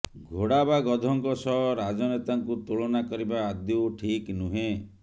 ଘୋଡା ବା ଗଧଙ୍କ ସହ ରାଜନେତାଙ୍କୁ ତୁଳନା କରିବା ଆଦୌ ଠିକ ନୁହେଁ